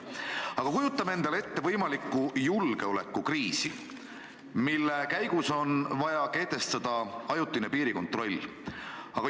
Aga kujutame endale ette võimalikku julgeolekukriisi, mille käigus on vaja kehtestada ajutine piirikontroll!